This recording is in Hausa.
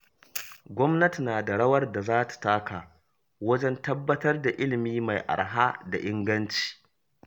Gwamnati na da rawar da za ta taka wajen tabbatar da ilimi mai araha da inganci.